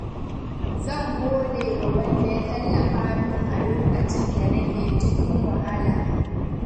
Zan gode wa wanda ya tallafa min a lokacin da nake cikin wahala.